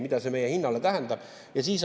Mida see meie hinnale tähendab?